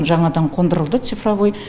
жаңадан қондырылды цифровой